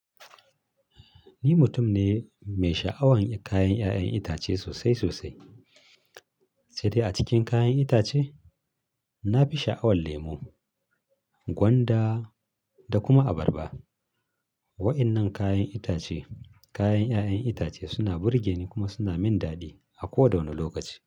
Ni mutum ne mai sha'awan kayan ƴa'ƴan itace sosai sosai. Sedai a cikin kayan itace, na fi sha'awan lemo, gwanda da kuma abarba. Wa'yannan kayan itace, kayan ƴa'ƴan itace suna burgeni kuma suna min daɗi a koda wanne lokaci.